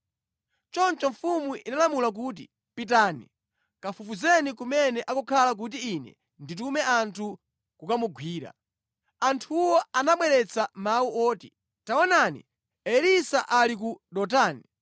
Choncho mfumu inalamula kuti, “Pitani, kafufuzeni kumene akukhala kuti ine nditume anthu kukamugwira.” Anthuwo anabweretsa mawu oti, “Taonani, Elisa ali ku Dotani.”